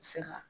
Se ka